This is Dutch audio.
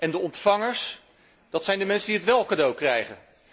En de ontvangers zijn de mensen die het wél cadeau krijgen.